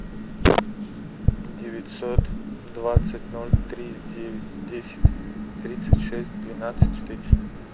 девятьсот двадцать ноль три девять десять тридцать шесть двенадцать четыреста